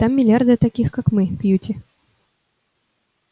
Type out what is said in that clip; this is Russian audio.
там миллиарды таких как мы кьюти